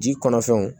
Ji kɔnɔfɛnw